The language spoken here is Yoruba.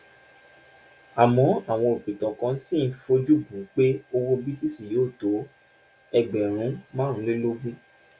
àmọ àwọn òpìtàn kan ṣì ń fojú bù ú pé owó btc yóò tó ẹgbèrún márùnlélógún